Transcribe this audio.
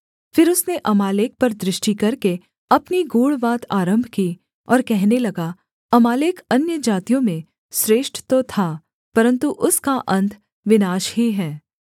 फिर उसने अमालेक पर दृष्टि करके अपनी गूढ़ बात आरम्भ की और कहने लगा अमालेक अन्यजातियों में श्रेष्ठ तो था परन्तु उसका अन्त विनाश ही है